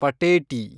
ಪಟೇಟಿ